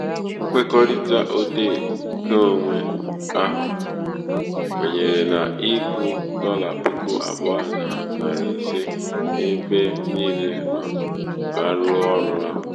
ṅkwekọrịta òdeè ṅkeōnwē ahụ̀ um kwènyèrè n’ịkwụ̄ ̀̀dọlà puku àbụọ nà nàrị̀ ìse ebe ebe niilē mà a rụzuo ọrụ ahụ̀.